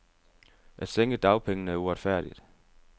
At sænke dagpengene er uretfærdigt.